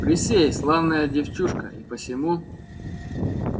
присей славная девчушка и посему